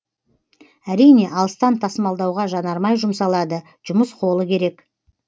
әрине алыстан тасымалдауға жанармай жұмсалады жұмыс қолы керек